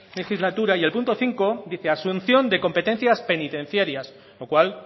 legislatura y el punto cinco dice asunción de competencias penitenciarias con lo cual